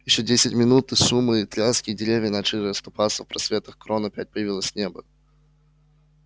ещё десять минут шума и тряски и деревья начали расступаться в просветах крон опять появилось небо